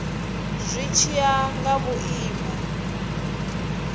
zwi tshi ya nga vhuimo